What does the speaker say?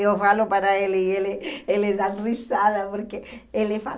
Eu falo para ele e ele ele dá risada porque ele fala.